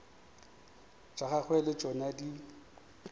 tša gagwe le tšona di